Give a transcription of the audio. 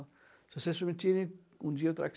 Se vocês permitirem, um dia eu trago.